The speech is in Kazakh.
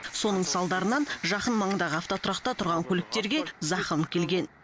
соның салдарынан жақын маңдағы автотұрақта тұрған көліктерге зақым келген